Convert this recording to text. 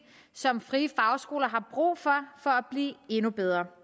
som frie fagskoler har brug for for at blive endnu bedre